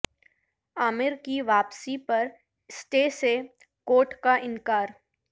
عامر کی واپسی پر اسٹے سے کورٹ کا انکار